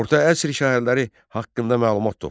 Orta əsr şəhərləri haqqında məlumat topla.